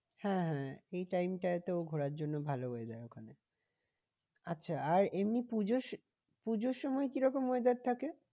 হ্যাঁ হ্যাঁ এই time টায় তো ঘোরার জন্য ভালো weather ওখানে আচ্ছা আর এমনি পুজো, পুজোর সময় কিরকম weather থাকে?